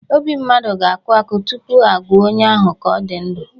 Obi mmadụ ga-akụ akụ tupu a gụọ onye ahụ ka onye dị ndụ.